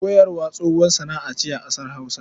Koyarwa tsohuwar sana'a ce a ƙasar Hausa.